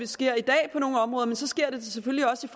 sker i dag men selvfølgelig også